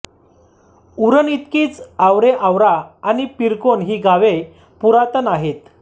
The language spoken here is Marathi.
उरणइतकीच आवरेआवरा आणि पिरकोन ही गावे पुरातन आहेत